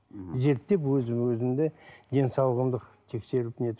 зерттеп өзім өзімді денсаулығымды тексеріп нетіп